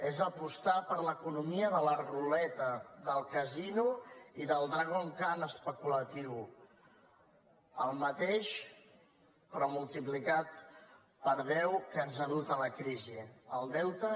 és apostar per l’economia de la ruleta del casino i del dragon khan especulatiu el mateix però multiplicat per deu que ens ha dut a la crisi al deute